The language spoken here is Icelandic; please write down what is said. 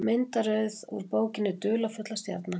Myndaröð úr bókinni Dularfulla stjarnan.